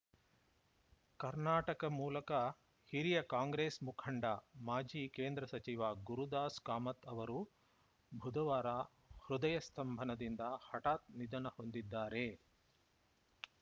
ಕರ್ನಾಟಕ ಮೂಲಕ ಹಿರಿಯ ಕಾಂಗ್ರೆಸ್‌ ಮುಖಂಡ ಮಾಜಿ ಕೇಂದ್ರ ಸಚಿವ ಗುರುದಾಸ್‌ ಕಾಮತ್‌ ಅವರು ಬುಧವಾರ ಹೃದಯಸ್ತಂಭನದಿಂದ ಹಠಾತ್‌ ನಿಧನ ಹೊಂದಿದ್ದಾರೆ